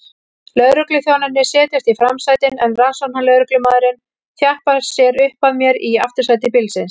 Lögregluþjónarnir setjast í framsætin en rannsóknarlögreglumaðurinn þjappar sér upp að mér í aftursæti bílsins.